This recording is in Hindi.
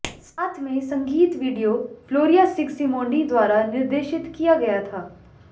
साथ में संगीत वीडियो फ्लोरिया सिग्सिमोंडी द्वारा निर्देशित किया गया था